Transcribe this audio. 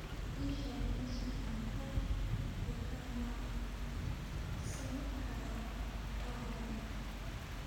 ii sheeg meesha aan ka dukaamaysan karo aaggan